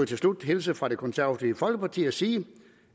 til slut hilse fra det konservative folkeparti og sige